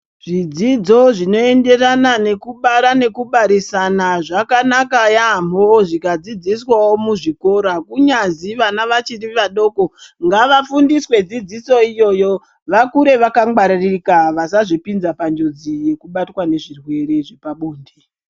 Zvidzidzo zvinoenderana nekubara nekubarisana zvakanaka yamho zvikadzodziswawo muzvikora kunyazi vana vachiri vadoko ngavafundiswe dzidziso iyoyo vakure vakangwaririka vasazvipinza panjodzi yekubatwa nezvirwere zvepabonde.